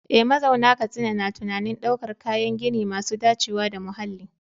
Eh, mazauna Katsina na tunanin daukar kayan gini masu dacewa da muhalli.